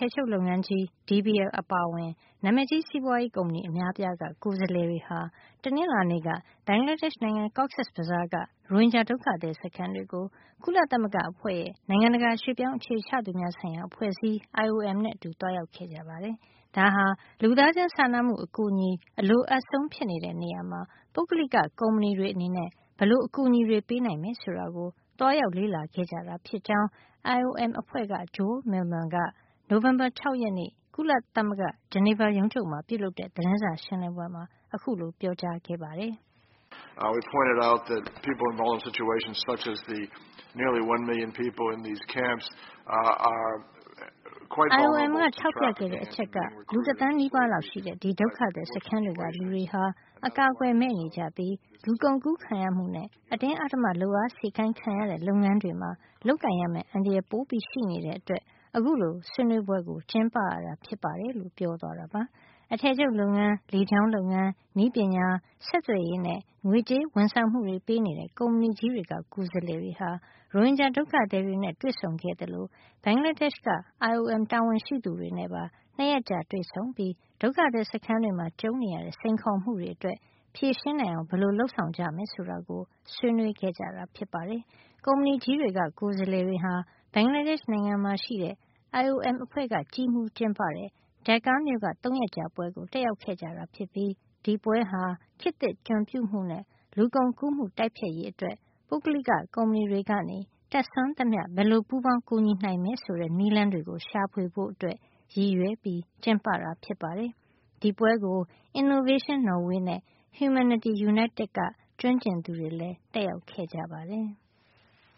ည်ချုပ်လုပ်ငန်း DBL အပါအဝင် နာမည်ကြီးစီးပွါးရေးကုမ္ပဏီကြီး အများအပြားက ကိုယ်စားလှယ်တွေဟာ တနင်္လာနေ့က ဘင်္ဂလားဒေ့ရှ် နိုင်ငံ Cox’s Bazar က ရိုဟင်ဂျာ ဒုက္ခသည် စခန်းတွေကို ကုလသမဂ္ဂအဖွဲ့ရဲ့ နိုင်ငံတကာ အရွှေ့ပြောင်း အခြေချသူများအဖွဲ့အစည်း IOM နဲ့အတူ သွားရောက်ခဲ့ကြပါတယ်။ ဒါဟာ လူသားချင်းစာနာမှု အကူညီအလိုအပ်ဆုံး ဖြစ်နေတဲ့နေရာမှာ ပုဂ္ဂလိက ကုမ္ပဏီတွေ အနေနဲ့ ဘယ်လို အကူညီတွေ ပေးနိုင်မယ် ဆိုတာကို သွားရောက် လေ့လာကြတာ ဖြစ်ကြောင်း IOM အဖွဲ့က Joel Millman က နိုဝင်ဘာလ ၆ ရက်နေ့က ဂျနီဗာ ကုလသမဂ္ဂ ရုံးချုပ်မှာ ပြုလုပ်တဲ့ သတင်းစာရှင်းလင်းပွဲမှာ အခုလို ပြောပါတယ်။ "IOM က ထောက်ပြခဲ့တဲ့ အချက်က လူ တသန်းနီးပါးလောက် ရှိတဲ့ ဒီဒုက္ခသည် စခန်းတွေက လူတွေဟာ အကာကွယ် မဲ့နေကြပြီး၊ လူကုန်ကူးခံရမှုနဲ့ အတင်းအဓမ္မ လုပ်အားစေခိုင်ခံရတဲ့ လုပ်ငန်းတွေမှာ လုပ်ကိုင်ရမယ့် အန္တရာယ် ပိုရှိနေတဲ့အတွက် အခုလို ဆွေးနွေးပွဲကို ကျင်းပရတာ ဖြစ်ပါတယ်။ " အထည်ချုပ်လုပ်ငန်း၊ လေကြောင်းလုပ်ငန်း၊ နည်းပညာ၊ ဆက်သွယ်ရေးနဲ့ ငွေကြေးဝန်ဆောင်မှုတွေ ပေးနေတဲ့ ကုမ္ပဏီကြီးတွေက ကိုယ်စားလှယ်တွေဟာ ရိုဟင်ဂျာ ဒုက္ခသည်တွေနဲ့ တွေ့ဆုံခဲ့သလို ဘင်္ဂလားဒေ့ရှ်က IOM တာဝန်ရှိသူတွေနဲ့ ပါ ၂ ရက်ကြာ တွေ့ဆုံပြီး ဒုက္ခသည် စခန်းတွေမှာ ကြုံနေရတဲ့ စိန်ခေါ်မှုတွေအတွက် ဖြေရှင်းနိုင်အောင် ဘယ်လို လုပ်ဆောင်ကြမယ် ဆိုတာကို ဆွေးနွေးခဲ့တာ ဖြစ်ပါတယ်။ ကုမ္ပဏီကြီးတွေက ကိုယ်စားလှယ်တွေဟာ ဘင်္ဂလားဒေ့ရှ်နိုင်ငံမှာရှိတဲ့ IOM အဖွဲ့က ကြီးမှုးကျင်းပတဲ့ Dhaka မြို့က ၃ ရက်ကြာပွဲကို တက်ရောက်ခဲ့ကြတာဖြစ်ပြီး ဒီပွဲဟာ ခေတ်သစ် ကျွန်ပြုမှုနဲ့ လူကုန်ကူးမှု တိုက်ဖျက်ရေးအတွက် ပုဂ္ဂလိက ကဏ္ဍတွေက တတ်စွမ်းသမျှ ဘယ်လို ပူးပေါင်းကူညီ နိုင်မယ်ဆိုတဲ့ နည်းလမ်းတွေ ရှာဖွေဖို့ ရည်ရွယ် ကျင်းပတာ ဖြစ်ပါတယ်။ ဒီပွဲကို Innovation Norway နဲ့ Humanity United ပုဂ္ဂလိကကုမ္ပဏီတွေက ကျွမ်းကျင်သူတွေလည်း တက်ရောက်ခဲ့ပါတယ်။